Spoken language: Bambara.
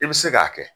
I bɛ se k'a kɛ